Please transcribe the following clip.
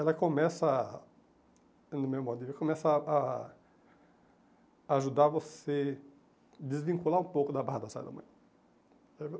Ela começa a, no meu modo de ver, começa a a ajudar você a desvincular um pouco da barra da saia da mãe.